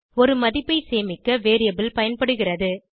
ஒரு மதிப்பை சேமிக்க வேரியபிள் பயன்படுகிறது